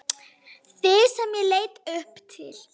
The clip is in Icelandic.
Þig sem ég leit upp til.